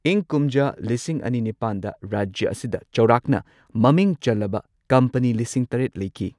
ꯏꯪ ꯀꯨꯝꯖꯥ ꯂꯤꯁꯤꯡ ꯑꯅꯤ ꯅꯤꯄꯥꯟꯗ ꯔꯥꯖ꯭ꯌ ꯑꯁꯤꯗ ꯆꯥꯎꯔꯥꯛꯅ ꯃꯃꯤꯡ ꯆꯜꯂꯕ ꯀꯝꯄꯅꯤ ꯂꯤꯁꯤꯡ ꯇꯔꯦꯠ ꯂꯩꯈꯤ꯫